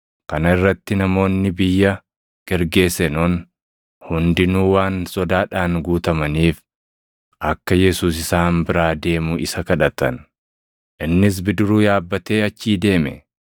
Kana irratti namoonni biyya Gergeesenoon hundinuu waan sodaadhaan guutamaniif akka Yesuus isaan biraa deemu isa kadhatan. Innis bidiruu yaabbatee achii deeme.